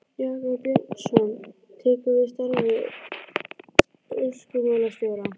Jakob Björnsson tekur við starfi orkumálastjóra.